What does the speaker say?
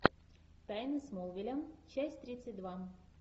тайны смолвиля часть тридцать два